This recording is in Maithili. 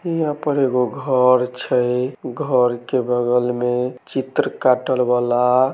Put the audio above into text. यहाँ पर एगो घर छै घर के बगल में चित्र काटल वला --